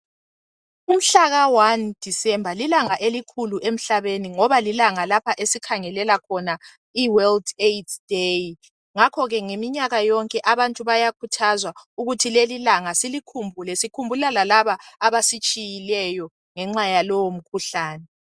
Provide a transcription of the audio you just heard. Umhlaka 1 December lilanga elikhulu kakhulu emhlabeni ngoba lilanga lapha esikhangelela khona iworld Aids day ngakho ngeminyaka yonke abantu bayakhuthazwa ukuthi lelilanga silikhumbule sikhumbula lalaba abasitshiyileyo ngexa yalowo mkhuhlane.